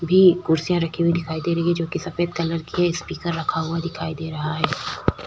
भी कुर्सियां रखी हुई दिखाई दे रही है जोकि सफ़ेद कलर की है स्पीकर रखा हुआ दिखाई दे रहा है।